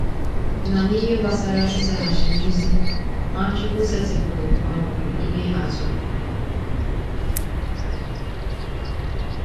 Na n’ihe gbasara ịzaghachi nduzi, Nwachukwu setịpụrụ um ihe atụ.